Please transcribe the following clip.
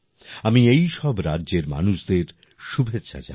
আমি এই সব রাজ্যের মানুষদের শুভেচ্ছা জানাই